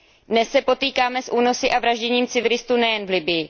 Dnes se potýkáme s únosy a vražděním civilistů nejen v Libyi.